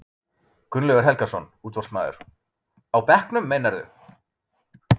Gunnlaugur Helgason, útvarpsmaður: Á bekknum meinarðu?